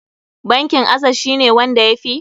Bankin acess shi ne wanda ya fi?